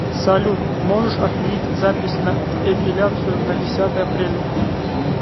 салют можешь отменить запись на эпеляцию на десятое апреля